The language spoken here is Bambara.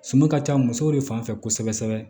Sunu ka ca musow de fan fɛ kosɛbɛ kosɛbɛ